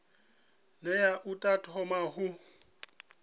ne a ḓo thoma u